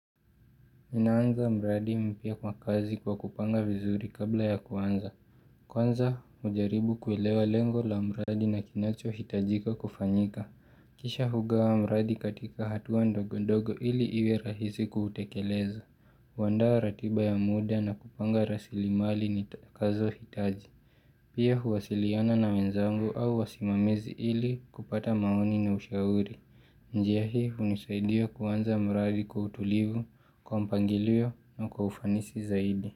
Mimi naanza mradi mpya kwa kazi kwa kupanga vizuri kabla ya kuanza. Kwanza, ujaribu kuelewa lengo la mradi na kinachohitajika kufanyika. Kisha hugawa mradi katika hatua ndogo ndogo ili iwe rahisi kuutekeleza. Huandaa ratiba ya mda na kupanga rasilimali nitakazohitaji. Pia huwasiliana na wenzangu au wasimamizi ili kupata maoni na ushauri. Njia hii hunisaidia kuanza mradi kwa utulivu, kwa mpangilio na kwa ufanisi zaidi.